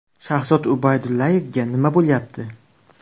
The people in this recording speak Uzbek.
Shahzod Ubaydullayevga nima bo‘lyapti?